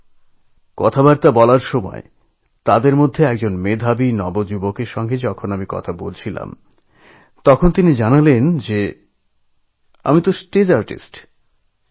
সেই আলোচনায় একজন দৃষ্টিতে অন্য ভাবে সক্ষমতরুণের সঙ্গে কথা বললামতিনি জানালেনআমিস্টেজ আর্টিস্ট